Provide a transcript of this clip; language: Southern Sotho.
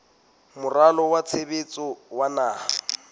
moralo wa tshebetso wa naha